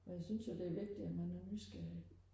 og jeg synes jo det er vigtigt at man er nysgerrig